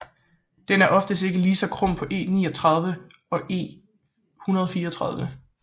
Den er oftest ikke lige så krum som E39 og E134